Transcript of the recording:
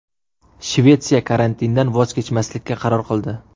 Shvetsiya karantindan voz kechmaslikka qaror qildi.